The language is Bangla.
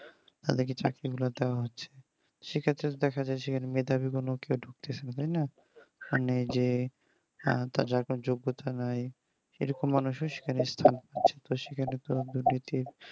তাদেরকে চাকরি গুলো দেয় হচ্ছে সে ক্ষেত্রে দেখা যাচ্ছে এখানে মেধাবী কোনো কেও ঢুকতেছে না তাই না মানে যে তার যার কোনো যোগ্যতা নেই সেরকম মানুষও সেখানে